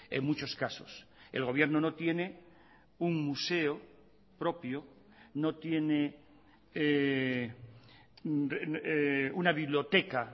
en muchos casos el gobierno no tiene un museo propio no tiene una biblioteca